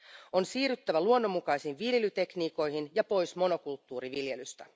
On siirryttävä luonnonmukaisiin viljelytekniikoihin ja pois monokulttuuriviljelystä.